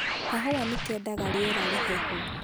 kahũa nĩ keendaga rĩera rĩhehu